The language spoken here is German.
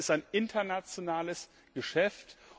Das ist ein internationales Geschäft.